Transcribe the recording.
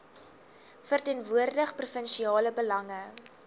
verteenwoordig provinsiale belange